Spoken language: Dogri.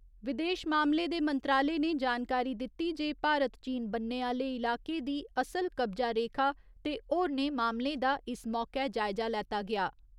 विदेश मामले दे मंत्रालय ने जानकारी दित्ती जे भारत चीन बन्ने आह्‌ले इलाके दी असल कब्जा रेखा ते होरनें मामलें दा इस मौके जायजा लैता गेआ।